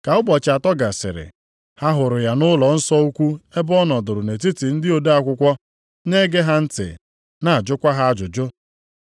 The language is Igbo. Ka ụbọchị atọ gasịrị, ha hụrụ ya nʼụlọnsọ ukwu ebe ọ nọdụrụ nʼetiti ndị ode akwụkwọ, na-ege ha ntị na-ajụkwa ha ajụjụ.